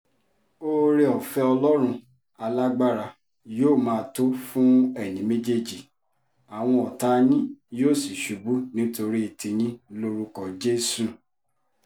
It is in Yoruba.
oore-ọ̀fẹ́ ọlọ́run alágbára yóò máa tó fún ẹ̀yin méjèèjì àwọn ọ̀tá yín yóò sì ṣubú nítorí tiyín lórúkọ jésù